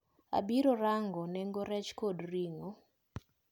Abiro rango nengo rech kod ring`o.